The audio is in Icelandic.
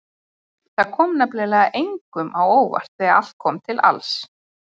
Það kom nefnilega engum á óvart þegar allt kom til alls.